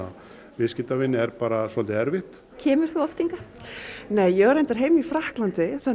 viðskiptavini er bara svolítið erfitt kemur þú oft hingað nei ég á reyndar heima í Frakklandi þannig